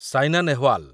Saina Nehwal